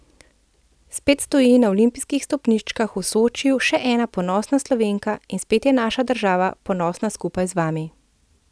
Spet stoji na olimpijskih stopničkah v Sočiju še ena ponosna Slovenka in spet je naša država ponosna skupaj z vami.